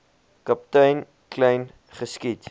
kaptein kleyn geskiet